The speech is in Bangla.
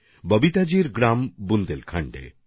ববিতাজির গ্রাম বুন্দেলখণ্ডে